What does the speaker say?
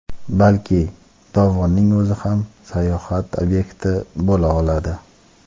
balki dovonning o‘zi ham sayohat ob’yekti bo‘la oladi.